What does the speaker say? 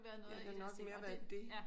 Ja det har nok mere været det